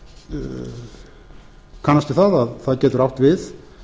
ég kannast við að það getur átt við